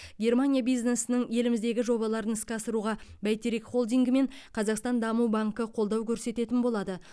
германия бизнесінің еліміздегі жобаларын іске асыруға бәйтерек холдингі мен қазақстан даму банкі қолдау көрсететін болады